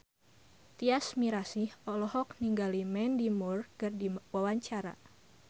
Tyas Mirasih olohok ningali Mandy Moore keur diwawancara